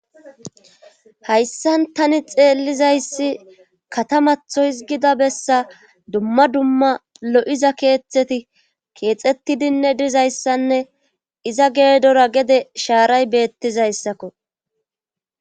hayssan tani xeellizayssi katamatho hizgida bessa dumma dumma lo7iza keeththeti keexettidinne dizayssanne iza geedora gede shaaray beettizayssakko